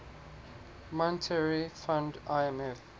monetary fund imf